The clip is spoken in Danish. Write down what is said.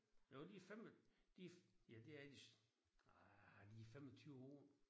Jo de 5 de ja det er ah er de 25 år?